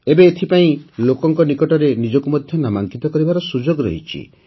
ଏବେ ଏଥିପାଇଁ ଲୋକଙ୍କ ନିକଟରେ ନିଜକୁ ମଧ୍ୟ ନାମାଙ୍କିତ କରିବାର ସୁଯୋଗ ରହିଛି